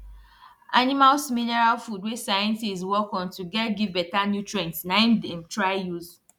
animals mineral food wey scientist work on to get give better nutrients na im dem try use